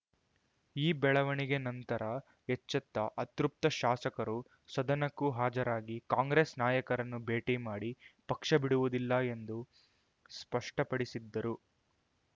ಈ ಬೆಳವಣಿಗೆ ನಂತರ ಎಚ್ಚೆತ್ತ ಅತೃಪ್ತ ಶಾಸಕರು ಸದನಕ್ಕೂ ಹಾಜರಾಗಿ ಕಾಂಗ್ರೆಸ್ ನಾಯಕರನ್ನು ಭೇಟಿ ಮಾಡಿ ಪಕ್ಷ ಬಿಡುವುದಿಲ್ಲ ಎಂದು ಸ್ಪಷ್ಟಪಡಿಸಿದ್ದರು